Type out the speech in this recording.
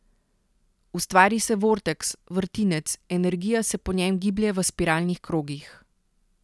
Ustvari se vorteks, vrtinec, energija se po njem giblje v spiralnih krogih.